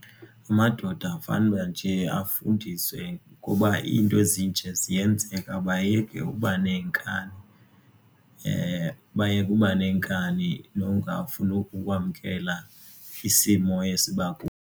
Amadoda fanuba nje afundiswe ngoba iinto ezinje ziyenzeka bayeke ukuba nenkani. Bayeke uba nenkani nokungafuni ukwamkela isimo esi .